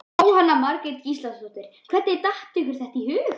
Jóhanna Margrét Gísladóttir: Hvernig datt ykkur þetta í hug?